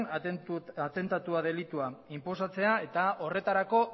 atentatua delitua inposatzea eta horretarako